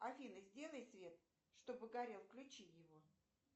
афина сделай свет чтобы горел включи его